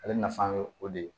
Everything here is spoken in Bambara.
Ale nafa ye o de ye